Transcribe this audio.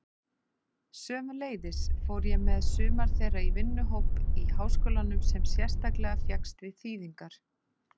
Sömuleiðis fór ég með sumar þeirra í vinnuhóp í háskólanum sem sérstaklega fékkst við þýðingar.